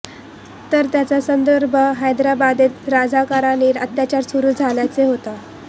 तर त्याचा संदर्भ हैदराबादेत राझाकारांचे अत्याचार सुरू झाल्याचा होता